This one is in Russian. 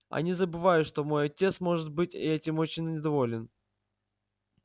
они забывают что мой отец может быть этим очень недоволен